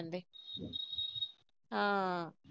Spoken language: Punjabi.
ਹਾਂ।